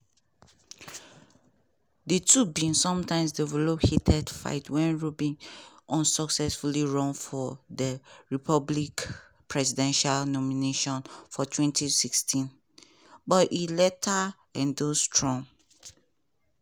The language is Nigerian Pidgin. and we go need go need a whole-of-society – no be just govment – effort to match dem."